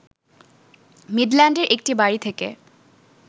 মিডল্যান্ডের একটি বাড়ী থেকে